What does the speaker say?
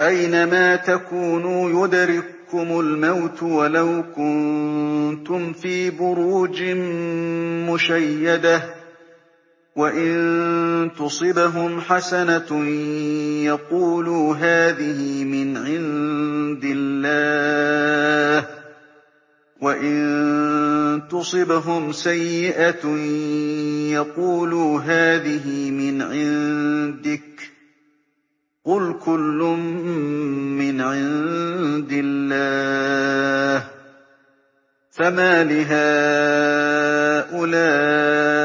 أَيْنَمَا تَكُونُوا يُدْرِككُّمُ الْمَوْتُ وَلَوْ كُنتُمْ فِي بُرُوجٍ مُّشَيَّدَةٍ ۗ وَإِن تُصِبْهُمْ حَسَنَةٌ يَقُولُوا هَٰذِهِ مِنْ عِندِ اللَّهِ ۖ وَإِن تُصِبْهُمْ سَيِّئَةٌ يَقُولُوا هَٰذِهِ مِنْ عِندِكَ ۚ قُلْ كُلٌّ مِّنْ عِندِ اللَّهِ ۖ فَمَالِ هَٰؤُلَاءِ